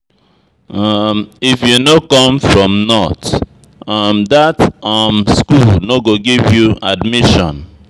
If you no come from north, um dat um skool no go give you admission.